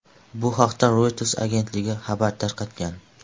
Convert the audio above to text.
Bu haqda Reuters agentligi xabar tarqatgan .